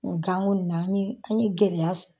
Ganko in na an ye an ye gɛlɛya sɔrɔ.